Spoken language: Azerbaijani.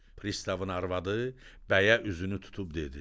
Pristavın arvadı bəyə üzünü tutub dedi: